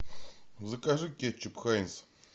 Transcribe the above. закажи кетчуп хайнц